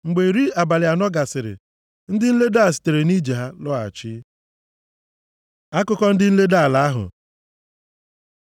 Mgbe iri abalị anọ gasịrị, ndị nledo a sitere nʼije ha lọghachi. Akụkọ ndị nledo ala ahụ